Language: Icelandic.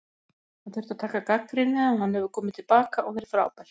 Hann þurfti að taka gagnrýni en hann hefur komið til baka og verið frábær.